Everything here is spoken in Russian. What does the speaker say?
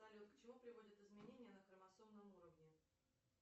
салют к чему приводят изменения на хромосомном уровне